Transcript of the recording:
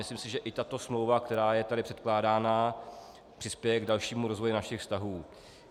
Myslím si, že i tato smlouva, která je tady předkládána, přispěje k dalšímu rozvoji našich vztahů.